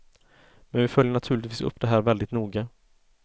Men vi följer naturligtvis upp det här väldigt noga.